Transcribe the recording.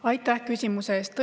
Aitäh küsimuse eest!